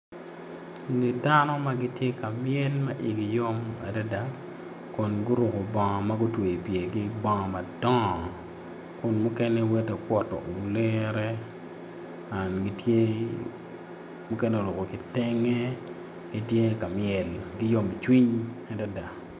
Eni dano ma gitye ka myel ma igi yom adada kun guruko bongo ma gutweyo pyergi ki bongo madongo kun mukene woti kuto olere gitye mukene oruko kitenge gitye ka myel ki yomcwiny adada.